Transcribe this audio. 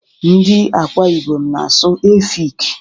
Ndị Akwa Ibom na-asụ Efik.